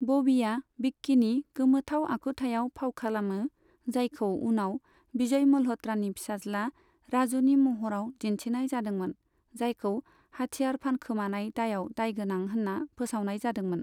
बबीआ बिक्किनि गोमोथाव आखुथायाव फाव खालामो, जायकौ उनाव बिजय मल्हत्रानि पिसाज्ला राजुनि महराव दिन्थिनाय जादोंमोन, जायखौ हाथियारन फानखोमानाय दायाव दायगोनां होन्ना फोसावनाय जादोंमोन।